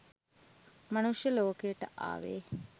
මනුෂ්‍ය ලෝකයට ආවේ